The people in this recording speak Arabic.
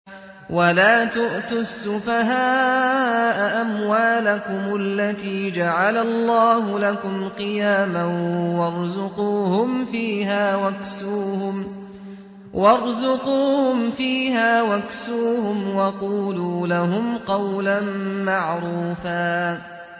وَلَا تُؤْتُوا السُّفَهَاءَ أَمْوَالَكُمُ الَّتِي جَعَلَ اللَّهُ لَكُمْ قِيَامًا وَارْزُقُوهُمْ فِيهَا وَاكْسُوهُمْ وَقُولُوا لَهُمْ قَوْلًا مَّعْرُوفًا